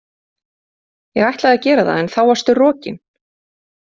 Ég ætlaði að gera það en þá varstu rokin!